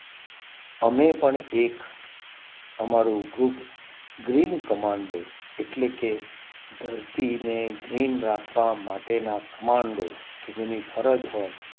અમે પણ એક અમારું ગ્રુપ green commando એટલે કે ધરતીને green રાખવા માટેના commando કે જેની ફરજ હોય